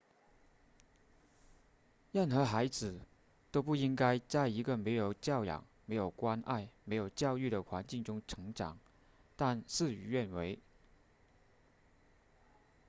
任何孩子都不应该在一个没有教养没有关爱没有教育的环境中成长但事与愿违